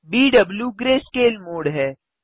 बीडबू greyscale mode है